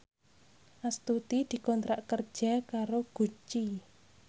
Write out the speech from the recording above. Astuti dikontrak kerja karo Gucci